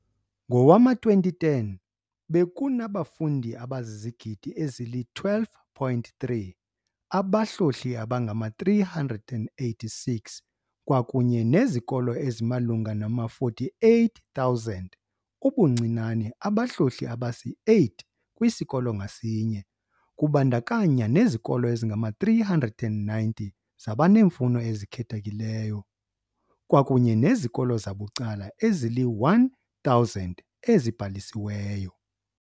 Ngowama-2010, bekunabafundi abazizigidi ezili-12.3, abahlohli abangama-386 kwakunye nezikolo ezimalunga nama-48,000 ubuncinane abahlohli abasi-8 kwisikolo ngasinye, kubandakanaya nezikolo ezingama-390 zabaneemfuno ezikhethekeleyo kwakunye nezikolo zabucala ezili-1000 ezibhalisiweyo.